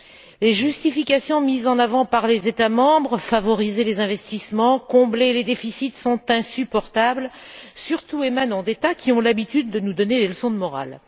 Les justifications mises en avant par les États membres, à savoir favoriser les investissements, combler les déficits, sont insupportables, surtout lorsqu'elles émanent d'États qui ont l'habitude de nous donner des leçons de morale.